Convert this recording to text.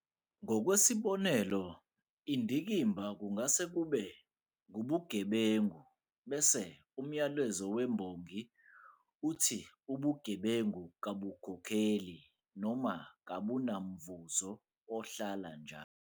Ngokwesibonelo, indikimba kungase kube ngubugebengu bese umyalezo wembongi uthi ubugebengu kabukhokheli noma kabunamvuzo ohlala njalo.